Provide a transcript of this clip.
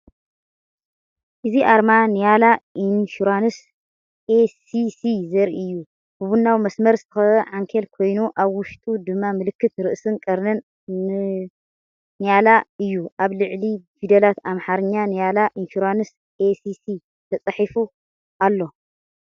እዚ ኣርማ ‘ንያላ ኢንሹራንስ ኤስ.ሲ. ዘርኢ እዩ። ብቡናዊ መስመር ዝተኸበበ ዓንኬል ኮይኑ፡ ኣብ ውሽጡ ድማ ምልክት ርእስን ቀርንን ንላ’ዩ። ኣብ ላዕሊ ብፊደላት ኣምሓርኛ ንያላ ኢንሹራንስ ኤስ.ሲ ተጻሒፉ ኣሎ።